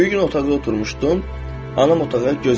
Bir gün otaqda oturmuşdum, anam otağa göz gəzdirdi.